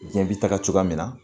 Jɛn bi taga cogoya min na